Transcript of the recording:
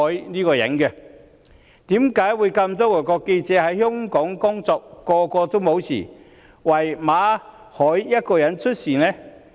那麼多外國記者在港工作都沒有事，為何只有馬凱一個人出事？